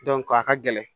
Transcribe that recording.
a ka gɛlɛn